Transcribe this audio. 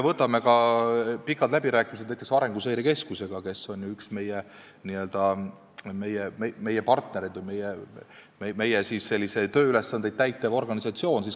Vaatame pikki läbirääkimisi näiteks Arenguseire Keskusega, kes on ju üks meie n-ö partnereid või meie antud tööülesandeid täitev organisatsioon.